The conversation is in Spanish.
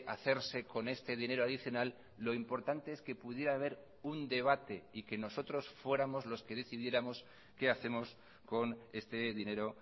hacerse con este dinero adicional lo importante es que pudiera haber un debate y que nosotros fuéramos los que decidiéramos qué hacemos con este dinero